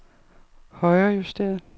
højrejusteret